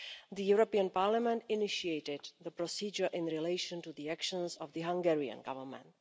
The European Parliament initiated the procedure in relation to the actions of the Hungarian Government.